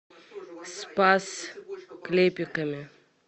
спас клепиками